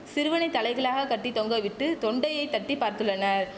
சிறுவனை தலைகீழாக கட்டி தொங்க விட்டு தொண்டையை தட்டி பார்த்துள்ளனர்